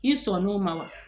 I sɔnn'o ma wa